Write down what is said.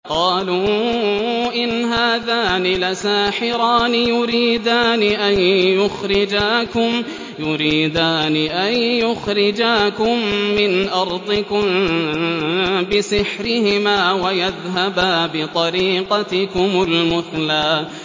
قَالُوا إِنْ هَٰذَانِ لَسَاحِرَانِ يُرِيدَانِ أَن يُخْرِجَاكُم مِّنْ أَرْضِكُم بِسِحْرِهِمَا وَيَذْهَبَا بِطَرِيقَتِكُمُ الْمُثْلَىٰ